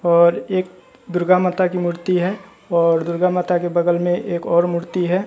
और एक दुर्गा माता की मूर्ति है और दुर्गा माता के बगल में एक और मूर्ति है।